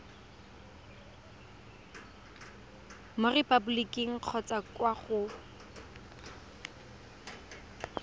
mo repaboliking kgotsa kwa go